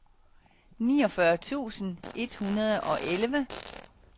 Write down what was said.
niogfyrre tusind et hundrede og elleve